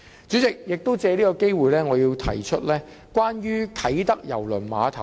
主席，我亦藉此機會說說啟德郵輪碼頭。